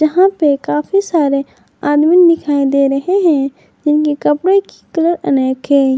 यहां पे काफी सारे आदमी दिखाई दे रहे हैं जिनके कपड़े की कलर अनेक हैं।